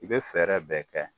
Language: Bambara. I bɛ fɛɛrɛ bɛɛ kɛ.